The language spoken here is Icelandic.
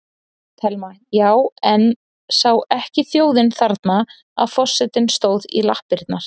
Telma: Já, en sá ekki þjóðin þarna að forsetinn stóð í lappirnar?